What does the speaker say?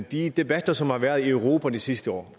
de debatter som har været i europa de sidste år